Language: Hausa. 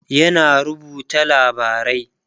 yana rubuta labarai